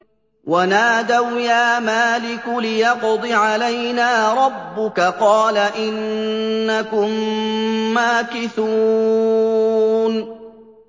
وَنَادَوْا يَا مَالِكُ لِيَقْضِ عَلَيْنَا رَبُّكَ ۖ قَالَ إِنَّكُم مَّاكِثُونَ